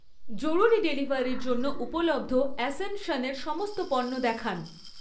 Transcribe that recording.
জরুরি ডেলিভারির জন্য উপলব্ধ অ্যাসেনশনের সমস্ত পণ্য দেখান।